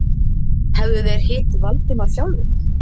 Hefðu þeir hitt Valdimar sjálfir?